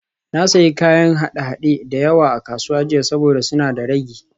Na sayi kayan haɗe-haɗe da yawa a kasuwa jiya saboda suna da ragi